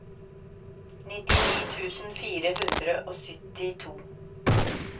nittini tusen fire hundre og syttito